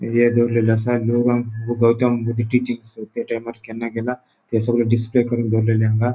ये दोवरलेले असा लोक हांग गौतम बुद्ध टीचिंग केन्ना गेला ते सोगले डीसप्ले करून दोरलेले हांगा.